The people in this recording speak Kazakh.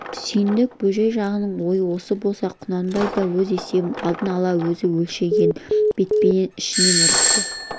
сүйіндік бөжей жағының ойы осы болса құнанбай да өз есебін алдын ала өзі өлшеген бетпенен ішіне ірікті